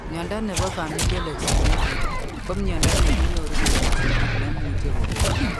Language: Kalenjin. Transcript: Mnyondo nebo Familial exudative ko mnyondo neki nyoru kobun sigiik nemuche kogon